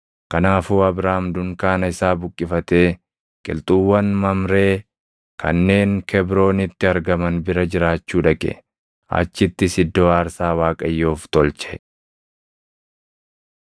Kanaafuu Abraam dunkaana isaa buqqifatee qilxuuwwan Mamree kanneen Kebroonitti argaman bira jiraachuu dhaqe; achittis iddoo aarsaa Waaqayyoof tolche.